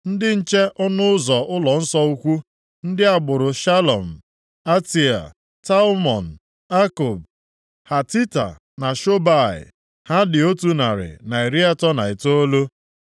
Ndị nche ọnụ ụzọ ụlọnsọ ukwu: + 2:42 Ndị a bụ ndị nche ụlọ ukwu, ha si nʼebo Livayị. \+xt 1Ih 15:18 Ndị agbụrụ Shalum, Atea, Talmon, Akub, Hatita na Shobai. Ha dị otu narị, na iri atọ na itoolu (139).